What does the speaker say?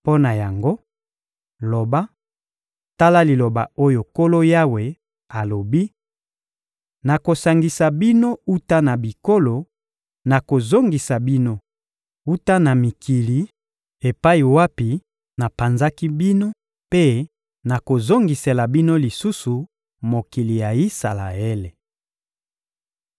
Mpo na yango, loba: ‹Tala liloba oyo Nkolo Yawe alobi: Nakosangisa bino wuta na bikolo, nakozongisa bino wuta na mikili epai wapi napanzaki bino mpe nakozongisela bino lisusu mokili ya Isalaele.›